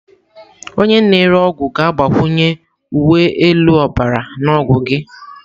Onye na-ere ọgwụ ga-agbakwunye uwe elu ọbara na ọgwụ gị.